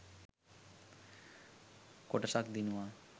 කොටසක් දිනුවා.